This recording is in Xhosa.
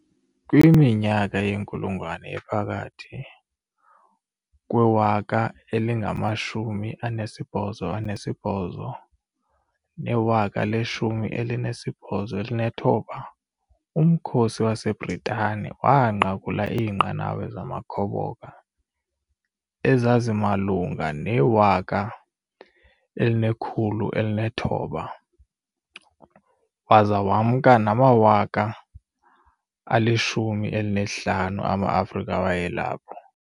Kwiminyaka yenkulungwane ephakathi kwe-1808 ne-1860, Umkhosi waseBritane waanqakula iinqanawa zamakhoboka ezazimalunga ne-1,600 waza wemka nama-150,000 amaAfrika wayelapho.